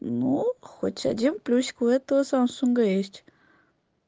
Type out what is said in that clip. ну хоть один плюсик у этого самсунга есть